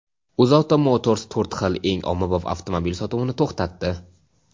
"UzAuto Motors" to‘rt xil eng ommabop avtomobil sotuvini to‘xtatdi.